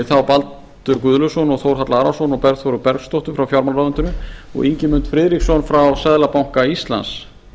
þá baldur guðlaugsson þórhall arason og bergþóru bergsdóttur frá fjármálaráðuneyti og ingimund friðriksson frá seðlabanka íslands